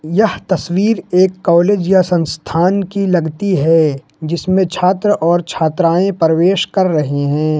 यह तस्वीर एक कॉलेज या संस्थान की लगती है जिसमें छात्र और छात्राएं प्रवेश कर रहे हैं।